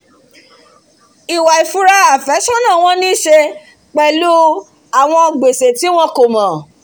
ìwà ìfura àfẹ́sọ̀nà wọn ní í se pẹ̀lú àwọn gbèsè tí wọn kòmọ̀